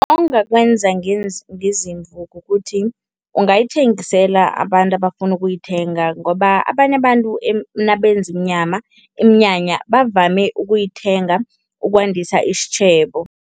Ongakwenza ngezimvu kukuthi, ungayithengisela abantu abafuna ukuyithenga ngoba abanye abantu nabenza inyama iminyanya bavame ukuyithenga ukwandisa isitjhebo.